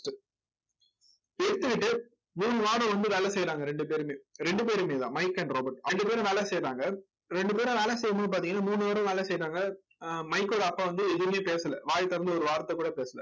எடுத்துக்கிட்டு மூணு வாரம் வந்து வேலை செய்யறாங்க ரெண்டு பேருமே ரெண்டு பேருமேதான் மைக் and ராபர்ட் ரெண்டு பேரும் வேலை செய்யுறாங்க ரெண்டு பேரும் வேலை செய்யும்போது பாத்தீங்கன்னா மூணு hour உம் வேலை செய்யறாங்க ஆஹ் மைக்கோட அப்பா வந்து எதுவுமே பேசல வாயை திறந்து ஒரு வார்த்தைகூட பேசல